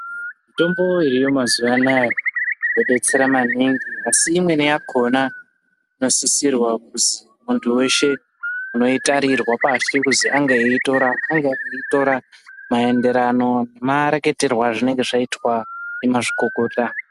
Mítombo iriyo mazuwa anaaa yodetsera maningi asi imweni yakhona inosissirwa kuzi muntu weshe unoitarirwa pashi kuzi ange eitora angeitora maenderano mareketerwo azvinenge zvaitwa ndimazvikokota.